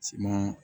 Siman